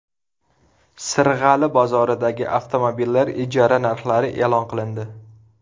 Sirg‘ali bozoridagi avtomobillar ijara narxlari e’lon qilindi.